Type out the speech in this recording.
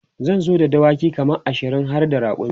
zan zo da dawaki kaman ashirin harda rakumi